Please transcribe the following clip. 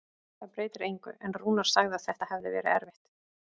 Það breytir engu, en Rúnar sagði að þetta hefði verið erfitt.